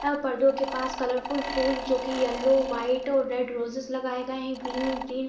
यह पर्दों के पास जो कलर फुल फुल जोकि येलो वाइट और रेड रोजेज लगाये गए हैग्रीन -ग्रीन --